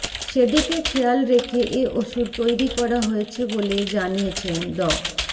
সেদিকে খেয়াল রেখে এ ওষুধ তৈরি করা হয়েছে বলে জানিয়েছেন ড